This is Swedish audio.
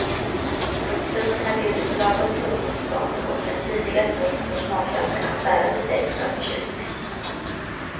Rotfrukterna bjuder på lagom tuggmotstånd och den syrliga såsen får smaklökarna att darra lite extra av förtjusning.